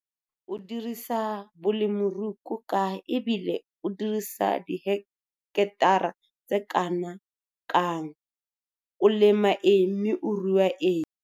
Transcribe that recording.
O dirisa bolemirui ko kae e bile o dirisa diheketara tse kana kang? O lema eng mme o rua eng?